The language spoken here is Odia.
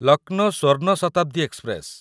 ଲକନୋ ସ୍ୱର୍ଣ୍ଣ ଶତାବ୍ଦୀ ଏକ୍ସପ୍ରେସ